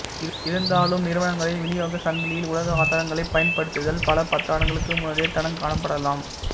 இருந்தாலும் நிறுவனங்களின் விநியோகச் சங்கிலியில் உலக ஆதாரங்களைப் பயன்படுத்துதல் பல பத்தாண்டுகளுக்கு முன்னரே தடங்காணப்படலாம் எ